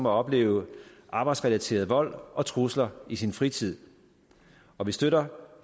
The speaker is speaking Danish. at opleve arbejdsrelateret vold og trusler i sin fritid og vi støtter